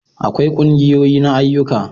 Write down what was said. akwai ƙungiyoyi na ayyuka